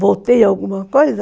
Voltei alguma coisa?